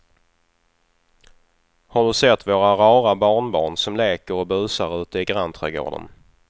Har du sett våra rara barnbarn som leker och busar ute i grannträdgården!